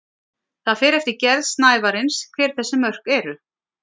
það fer eftir gerð snævarins hver þessi mörk eru